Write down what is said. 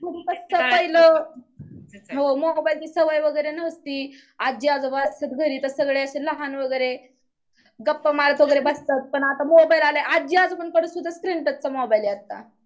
पहिलं हो मोबाईलची सवय वगैरे नसती आज्जी आजोबा असतात घरीतच सगळे असं लहान वगैरे गप्पा मारत जपत बस्त्यात पण आत्ता मोबाईल आले आज्जी आजोबांकडे सुद्धा स्क्रीन टचचा मोबाईल आहे आत्ता